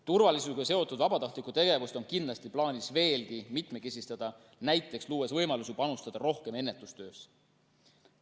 Turvalisusega seotud vabatahtlikku tegevust on kindlasti plaanis veelgi mitmekesistada, näiteks luues võimalusi panustada rohkem ennetustöösse.